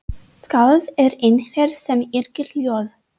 Skáld er einhver sem yrkir ljóð.